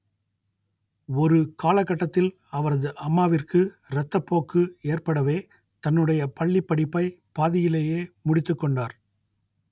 ஒரு காலகட்டத்தில் அவரது அம்மாவிற்கு ரத்தப்போக்கு ஏற்படவே தன்னுடைய பள்ளிப்படிப்பை பாதியிலேயே முடித்துக்கொண்டார்